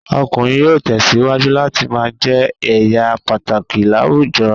Ọkùnrin yóò tẹ̀síwájú láti ma jẹ́ èèyà pàtàkì láwùjọ